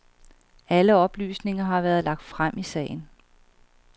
Alle oplysninger har været lagt frem i sagen.